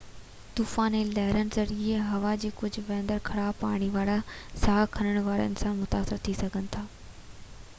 طوفان ۽ لهرن ذريعي هوا ۾ کڄي ويندڙ خراب پاڻي وارو ساهه کڻڻ سان انسان متاثر ٿي سگهن ٿا